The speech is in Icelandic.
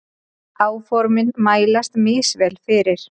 Áformin mælast misvel fyrir.